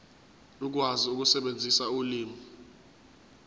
ukwazi ukusebenzisa ulimi